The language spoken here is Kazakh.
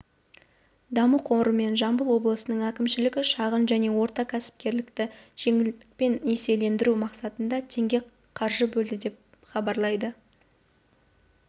даму қоры мен жамбыл облысының әкімшілігі шағын және орта кәсіпкерлікті жеңілдікпен несиелендіру мақсатында теңге қаржы бөлді деп хабарлайды